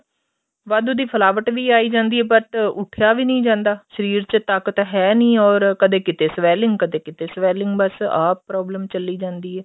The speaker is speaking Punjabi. ਵਾਧੂ ਦੀ ਫੁਲਾਵਟ ਵੀ ਆਈ ਜਾਂਦੀ ਏ but ਉੱਠਿਆ ਵੀ ਨੀ ਜਾਂਦਾ ਸ਼ਰੀਰ ਵਿੱਚ ਤਾਕਤ ਹੇਨੀ ਹੋਰ ਕਦੇ ਕਿਤੇ swelling ਕਦੇ ਕਿਤੇ swelling ਬੱਸ ਆ problem ਚੱਲੀ ਜਾਂਦੀ ਏ